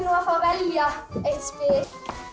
að fá að velja eitt spil þið